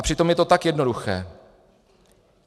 A přitom je to tak jednoduché.